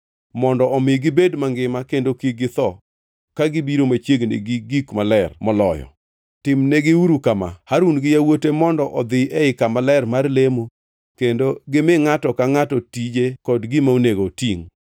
mondo omi gibed mangima kendo kik githo ka gibiro machiegni gi gik maler moloyo. Timnegiuru kama: Harun gi yawuote mondo odhi ei kama ler mar lemo kendo gimi ngʼato ka ngʼato tije kod gima onego otingʼ.